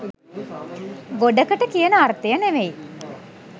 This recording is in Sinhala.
ගොඩකට කියන අර්ථය නෙවෙයි